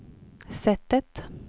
sättet